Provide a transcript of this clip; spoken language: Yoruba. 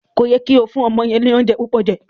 Ko yẹ ki o fún ọmọ yẹn ni oúnjẹ púpọ jẹ.